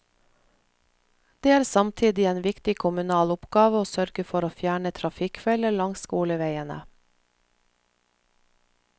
Det er samtidig en viktig kommunal oppgave å sørge for å fjerne trafikkfeller langs skoleveiene.